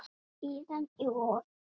Síðan í vor.